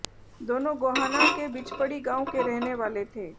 दोनों गोहाना के बिचपड़ी गांव के रहने वाले थे